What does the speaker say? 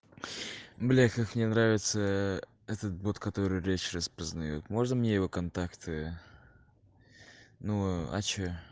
блять как мне нравится этот бот который речь распознает можно мне его контакты ну а что